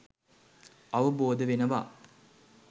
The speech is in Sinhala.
අවබෝධ වෙනවා.